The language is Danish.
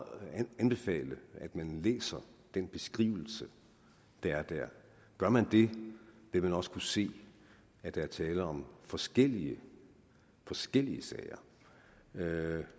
anbefale at man læser den beskrivelse der er der gør man det vil man også kunne se at der er tale om forskellige forskellige sager